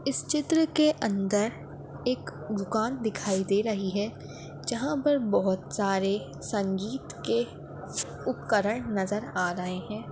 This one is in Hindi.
इस चित्र के अंदर एक दुकान दिखाई दे रही हैं जहां पर बहुत सारे संगीत के उपकरण नजर आ रहे हैं।